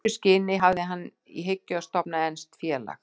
Í þessu skyni hafði hann í hyggju að stofna enskt félag.